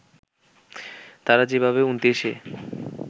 তারা যেভাবে ২৯ এ